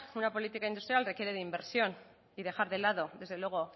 una política industrial requiere de inversión y dejar de lado desde luego